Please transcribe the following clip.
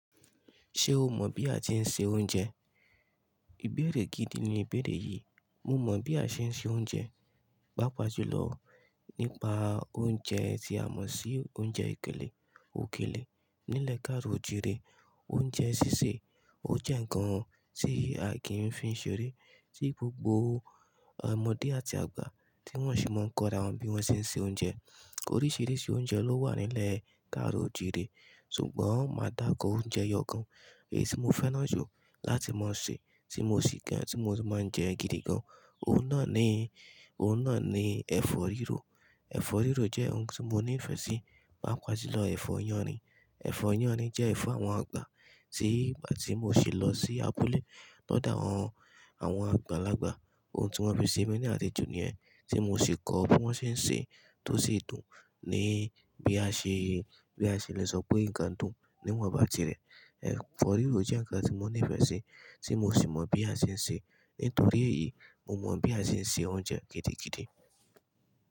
Ṣe o mọ bí a ti ń ṣe oúnjẹ? Ìbẹ̀rẹ̀ gidi ni ìbẹ̀rẹ̀ yí, mo mọ bí a ṣe ń ṣe oúnjẹ, paapa julọ nípa oúnjẹ tí a mọ sí oúnjẹ ekele, òkèlè, nilẹ kaaro ojire, oúnjẹ sísè, ó jẹ́ ǹkan tí a kín fi ń ṣeré, tí gbogbo ọmọdé àti àgbà tí wọn sì mọ́n kọ'ra wọn bí wọ́n ṣe ń ṣe oúnjẹ. Oríṣiríṣi oúnjẹ ló wà nilẹ kaaro ojire, ṣùgbọ́n má daako oúnjẹ ẹyọkan, èyí tí mo fẹ́ràn jù láti ma ṣe, tí mo sì kẹ, tí mo sì máa ń jẹ gidi gan, ọun náà ni, ọun náà ni ẹ̀fọ́ rirọ. Ẹ̀fọ́ rirọ jẹ oun tí mo nifẹ sí, paapa julọ ẹ̀fọ́ yanrin, ẹ̀fọ́ yanrin jẹ ẹ̀fọ́ àwọn àgbà, tí ìgbà tí mo sì lọ sí abúlé lọdo àwọn, àwọn àgbàlagbà, òun tí wọ́n fi ṣe mi ní àlejò nìyẹn, tí mo sì kọ bí wọ́n ṣe ń ṣe, tó sì dùn ni, bí a ṣe, bí a ṣe lè sọ pé ǹkan dùn, ní iwọnba tirẹ. Ẹ̀fọ́ rirọ jẹ ǹkan tí mo nifẹ sí, ti mo sì mọ bí a ṣe ń ṣe, nítorí èyí, mo mọ bí a ṣe ń ṣe oúnjẹ gidigidi.